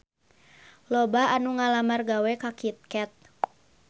Loba anu ngalamar gawe ka Kit Kat